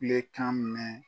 Kulekan mɛn